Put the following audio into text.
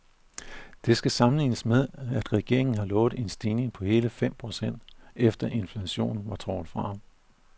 Det skal sammenlignes med, at regeringen har lovet en stigning på hele fem procent, efter inflationen var trukket fra.